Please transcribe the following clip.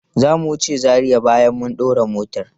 Zamu wuce Zaria bayan mun dora motar.